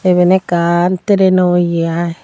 iben ekkan tereno ye aai.